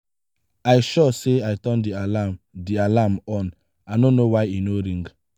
i sure say i turn the alarm the alarm on i no know why e no ring.